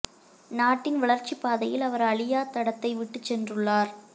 நாட்டின் வளர்ச்சிப் பாதையில் அவர் அழியாத் தடத்தை விட்டுச் சென்றுள்ளார்